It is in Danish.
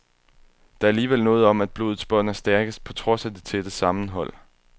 Der er alligevel noget om, at blodets bånd er stærkest, på trods af det tætte sammenhold.